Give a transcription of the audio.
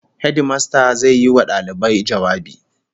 Hedimasta zai yi wa dalibai jawabi